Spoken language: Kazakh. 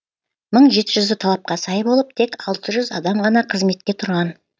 мың жеті жүзі талапқа сай болып тек алты жүз адам ғана қызметке тұрған